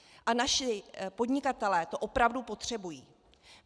A naši podnikatelé to opravdu potřebují.